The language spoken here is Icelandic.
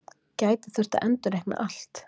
Gæti þurft að endurreikna allt